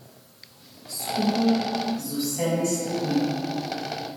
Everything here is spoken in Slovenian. Skupaj z vsemi sledmi.